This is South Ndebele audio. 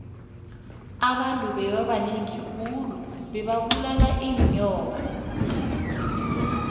abantu bebabanengi khulu bebabulala inyoka